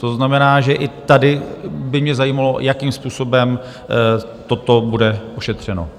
To znamená, že i tady by mě zajímalo, jakým způsobem toto bude ošetřeno.